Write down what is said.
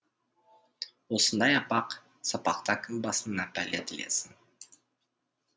осындай апақ сапақта кім басына пәле тілесін